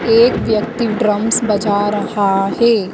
एक व्यक्ति ड्रम्स बजा रहा है।